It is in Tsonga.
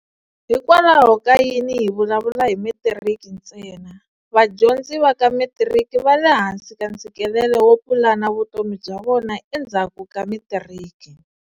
Hikokwalaho ka yini hi vulavula hi Metiriki ntsena? Vadyondzi va ka Metiriki va le hansi ka ntshikelelo wo pulana vutomi bya vona endzhaku ka Metiriki.